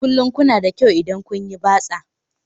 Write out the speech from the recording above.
Kullum kuna da kyau idan kun yi batsa